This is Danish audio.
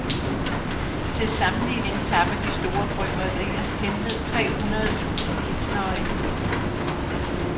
Til sammenligning tapper de store bryggerier henved tre hundrede tusind pilsnere, i timen.